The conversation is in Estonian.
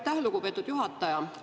Aitäh, lugupeetud juhataja!